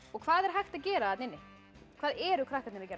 hvað er hægt að gera þarna inni hvað eru krakkarnir að gera